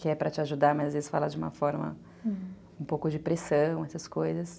que é para te ajudar, mas às vezes fala de uma forma, um pouco de pressão, essas coisas.